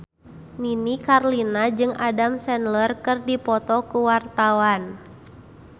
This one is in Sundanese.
Nini Carlina jeung Adam Sandler keur dipoto ku wartawan